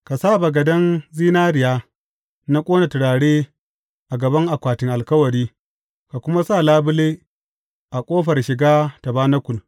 Ka sa bagaden zinariya na ƙona turare a gaban akwatin Alkawari, ka kuma sa labule a ƙofar shiga tabanakul.